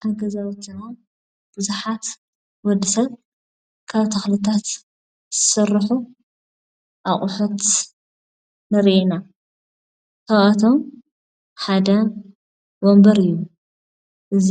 ኣብ ንገዛውትና ብዙሓት ንወዲ ሰብ ካብ ተኽልታት ዝስርሑ ኣቑሑት ንርኢ ኢና። ካብኣቶም ሓደ ወንበር እዩ። እዚ